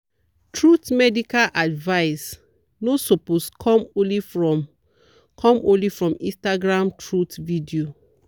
truth medical advice no suppose come only from come only from instagram truth video.